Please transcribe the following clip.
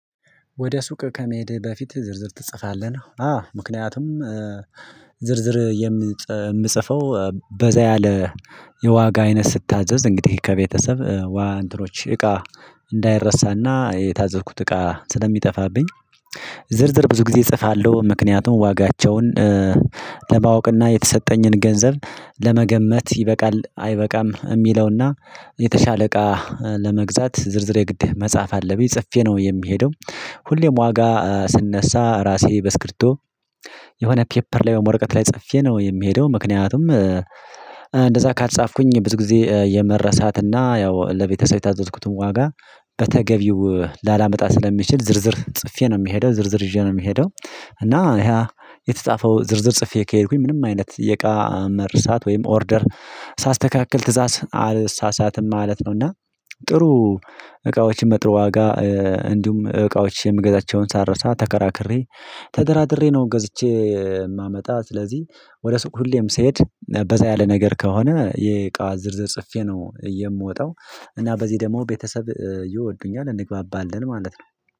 ወደ ሱቅ ከመሄድህ በፊት ዝርዝር ትጽፋለህ ነው? አዎ ምክንያቱም ዝርዝር የምፅ የምጽፈው በዛ ያለ የዋጋ አይነት ስታዘዝ እንግዲህ ከቤተሰብ ዋንትሮች እቃ እንዳይረሳና የታዘዝኩት እቃ ስለሚጠፋብኝ። ዝርዝር ብዙ ጊዜ እጽፋለሁ ምክንያቱም ዋጋቸውን ለማወቅና የተሰጠኝን ገንዘብ ለመገመት ይበቃል አይበቃም የሚለውና የተሻለ እቃ ለመግዛት ዝርዝር የግድ መጽሐፍ አለብኝ ጽፌ ነው የሚሄደው። ሁሌም ዋጋ ስነሳ ራሴ በስክርቶ የሆነ ፔፐር ላይ ወይሞ ወረቀት ላይ ጽፌ ነው የምሄደው ምክንያቱም። እንደዛ ካልጻፍኩኝ ብዙ ጊዜ የመረሳትና ያው ለቤተሰብ የታዘዝኩትን ዋጋ በተገቢው ላላመጣ ስለሚችል ዝርዝር ጽፌ ነው የሚሄደው ዝርዝር ይዤ ነው የሚሄደው። እና ያ የተጻፈው ዝርዝር ጽፌ ከሄድኩኝ ምንም አይነት የእቃ መርሳት ወይም ኦርደር ሳስተካክል ትእዛዝ አልሳሳትም ማለት ነው። እና ጥሩ እቃዎችን በጥሩ ዋጋ እንዲሁም እቃዎችን የምገዛቸውን ሳልረሳ ተከራክሬ ተደራድሬ ነው ገዝቼ የማመጣ። ስለዚህ ወደ ሱቅ ሁሌም ስሄድ በዛ ያለ ነገር ከሆነ የእቃ ዝርዝር ጽፌ ነው የምወጣው እና በዚህ ደግሞ ቤተሰብ ይወዱኛል እንግባባለን ማለት ነው።